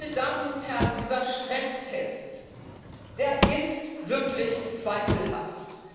Meine Damen und Herren, dieser Stresstest ist wirklich zweifelhaft.